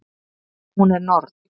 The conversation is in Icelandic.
Og hún er norn.